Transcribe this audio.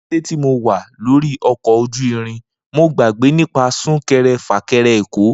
Ni kete ti Mo wa lori ọkọ oju irin, Mo gbagbe nipa sunkẹrẹ- fakẹrẹ Eko.